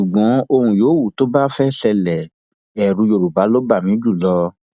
ṣùgbọn ohun yòówù tó bá fẹẹ ṣẹlẹ ẹrú yorùbá ló bá mi jù lọ